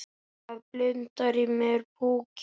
Það blundar í mér púki.